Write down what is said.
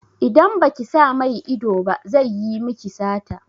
Idan baki sa mai ido ba zai yi miki sata.